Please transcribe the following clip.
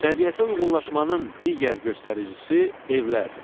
Təbiətə uyğunlaşmanın digər göstəricisi evlərdir.